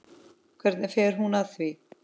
Hvernig fer hún að því?